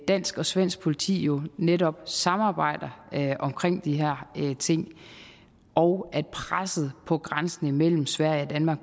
dansk og svensk politi jo netop samarbejder omkring de her ting og at presset på grænsen imellem sverige og danmark